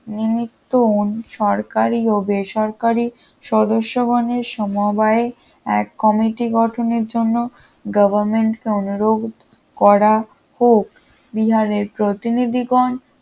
নিমিত্ত সরকারি ও বেসরকারি সদস্যগণের সমবায় এক কমিটি গঠনের জন্য গভর্নমেন্টকে অনুরোধ করা হোক বিহারের প্রতিনিধিগণ